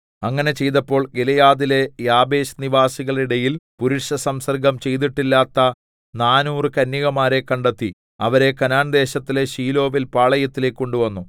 അങ്ങനെ ചെയ്തപ്പോൾ ഗിലെയാദിലെ യാബേശ് നിവാസികളുടെ ഇടയിൽ പുരുഷസംസർഗ്ഗം ചെയ്തിട്ടില്ലാത്ത നാനൂറ് കന്യകമാരെ കണ്ടെത്തി അവരെ കനാൻദേശത്തിലെ ശീലോവിൽ പാളയത്തിലേക്ക് കൊണ്ടുവന്നു